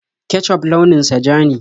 Kecuf launin sa ja ne.